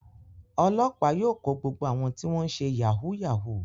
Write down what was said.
Ọlọ́pàá yóò kó gbogbo àwọn tí wọ́n ṣe yahoo yahoo.